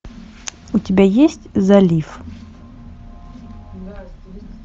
у тебя есть залив